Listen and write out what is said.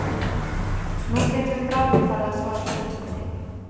Nú getum við bráðum farið að svara spurningunni.